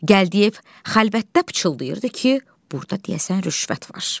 Gəldiyev xəlvətdə pıçıldayırdı ki, burda deyəsən rüşvət var.